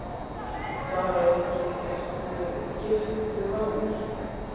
Þar að auki ertu giftur maður.